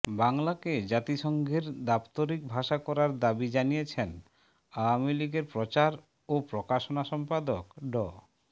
বাংলাকে জাতিসংঘের দাপ্তরিক ভাষা করার দাবি জানিয়েছেন আওয়ামী লীগের প্রচার ও প্রকাশনা সম্পাদক ড